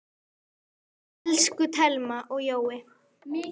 Elsku Thelma og Jói.